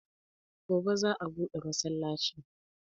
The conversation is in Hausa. Gobe za'a buɗe masallacin.